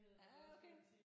Ja okay